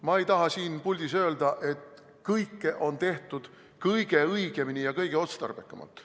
Ma ei taha siin puldis öelda, et kõike on tehtud kõige õigemini ja kõige otstarbekamalt.